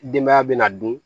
Denbaya bɛna dun